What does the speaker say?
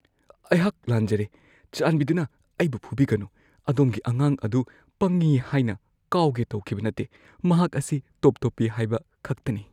ꯑꯩꯍꯥꯛ ꯂꯥꯟꯖꯔꯦ, ꯆꯥꯟꯕꯤꯗꯨꯅ ꯑꯩꯕꯨ ꯐꯨꯕꯤꯒꯅꯨ꯫ ꯑꯗꯣꯝꯒꯤ ꯑꯉꯥꯡ ꯑꯗꯨ ꯄꯪꯉꯤ ꯍꯥꯏꯅ ꯀꯥꯎꯒꯦ ꯇꯧꯈꯤꯕ ꯅꯠꯇꯦ꯫ ꯃꯍꯥꯛ ꯑꯁꯤ ꯇꯣꯞ-ꯇꯣꯞꯄꯤ ꯍꯥꯏꯕ ꯈꯛꯇꯅꯤ꯫